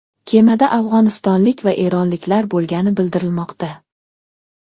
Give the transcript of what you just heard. Kemada afg‘onistonlik va eronliklar bo‘lgani bildirilmoqda.